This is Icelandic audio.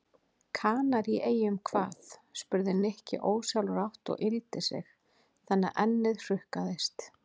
Kanaríeyjum hvað? spurði Nikki ósjálfrátt og yggldi sig þannig að ennið hrukkaðist.